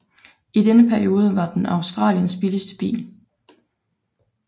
I denne periode var den Australiens billigste bil